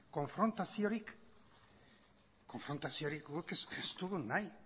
konfrontaziorik guk ez dugu nahi